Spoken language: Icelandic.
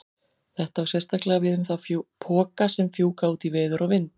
Þetta á sérstaklega við um þá poka sem fjúka út í veður og vind.